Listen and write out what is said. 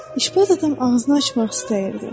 İşbaz adam ağzını açmaq istəyirdi.